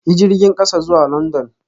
Yi jirgin kasa zuwa London